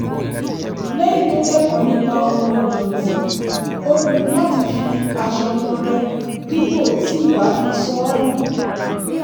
lẹ́yìn tó kẹ́kọ̀ọ́ nípa ohun ìdọ̀tí ó pinnu láti fi aṣọ tọrẹ dípò tí ì bá fi sọ ọ́ nù